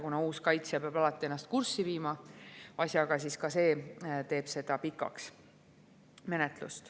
Kuna uus kaitsja peab alati ennast asjaga kurssi viima, siis ka see teeb menetluse pikaks.